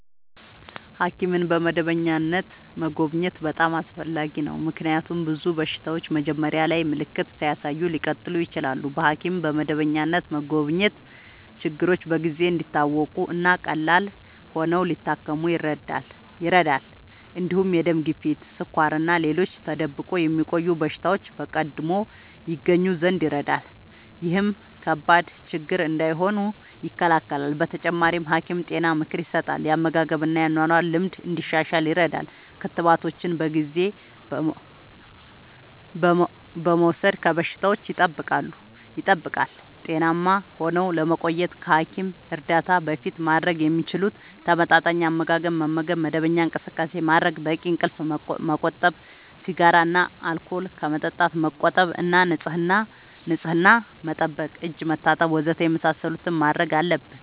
ሐኪምን በመደበኛነት መጎብኘት በጣም አስፈላጊ ነው፤ ምክንያቱም ብዙ በሽታዎች መጀመሪያ ላይ ምልክት ሳያሳዩ ሊቀጥሉ ይችላሉ። በሐኪም በመደበኛነት መጎብኘት ችግሮች በጊዜ እንዲታወቁ እና ቀላል ሆነው ሊታከሙ ይረዳል። እንዲሁም የደም ግፊት፣ ስኳር እና ሌሎች ተደብቆ የሚቆዩ በሽታዎች በቀድሞ ይገኙ ዘንድ ይረዳል። ይህም ከባድ ችግር እንዳይሆኑ ይከላከላል። በተጨማሪ፣ ሐኪም ጤና ምክር ይሰጣል፣ የአመጋገብ እና የአኗኗር ልምድ እንዲሻሻል ይረዳል። ክትባቶችን በጊዜ በመውሰድ ከበሽታዎች ይጠብቃል። ጤናማ ሆነው ለመቆየት ከሐኪም እርዳታ በፊት ማድረግ የሚችሉት፦ ተመጣጣኝ አመጋገብ መመገብ፣ መደበኛ እንቅስቃሴ ማድረግ፣ በቂ እንቅልፍ ማመቆጠብ፣ ሲጋራ እና አልኮል ከመጠቀም መቆጠብ እና ንጽህና መጠበቅ (እጅ መታጠብ ወዘተ) የመሳሰሉትን ማድረግ አለብን።